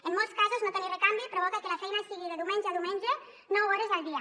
en molts casos no tenir recanvi provoca que la feina sigui de diumenge a diumenge nou hores al dia